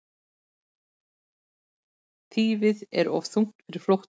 Þýfið of þungt fyrir flóttann